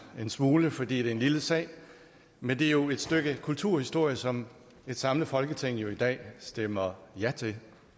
en smule fordi det er en lille sag men det er jo et stykke kulturhistorie som et samlet folketing i dag stemmer ja til